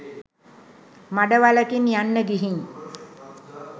මඩ වලකින් යන්න ගිහින්